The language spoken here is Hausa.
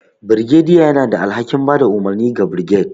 Birgediy yana da alhakin ba da umarni ga birged,